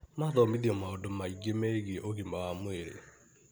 Mathomithio mandũ maingi megiĩ ũgima wa mwĩrĩ.